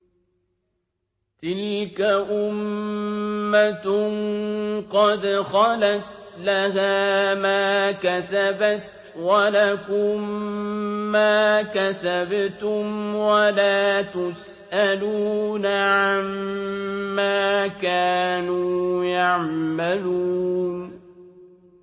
تِلْكَ أُمَّةٌ قَدْ خَلَتْ ۖ لَهَا مَا كَسَبَتْ وَلَكُم مَّا كَسَبْتُمْ ۖ وَلَا تُسْأَلُونَ عَمَّا كَانُوا يَعْمَلُونَ